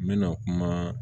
N bɛna kuma